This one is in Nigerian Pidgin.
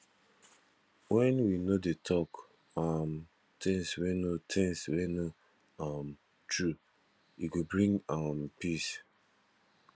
wen we no dey talk um things wey no things wey no um true e go bring um peace